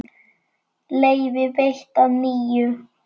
Leyfi veitt að nýju